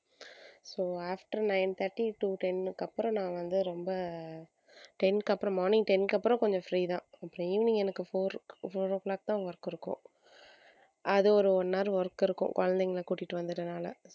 so after nine thirty to ten க்கு அப்புறம் நான் வந்து ரொம்ப ten க்கு அப்புறம் morning ten க்கு அப்புறம் கொஞ்சம் free தான் அப்புறம் evening எனக்கு four four o'clock தான் work இருக்கும் அது ஒரு one hour work இருக்கும் குழந்தைகளை கூட்டிட்டு வந்துடுறதுனால